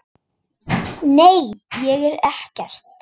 Nei, ég fer ekkert.